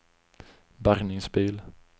bärgningsbil